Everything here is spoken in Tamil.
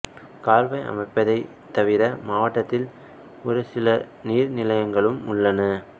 கால்வாய் அமைப்பைத் தவிர மாவட்டத்தில் ஒரு சில நீர்நிலைகளும் உள்ளன